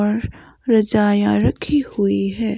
और रजाया रखी हुई है।